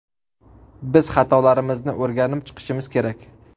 Biz xatolarimizni o‘rganib chiqishimiz kerak.